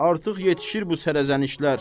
Artıq yetişir bu sərəzənişlər.